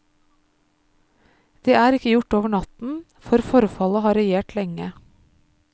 Det er ikke gjort over natten, for forfallet har regjert lenge.